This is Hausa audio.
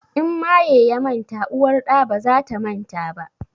In maye ya manta uwar ɗa baza ta manta ba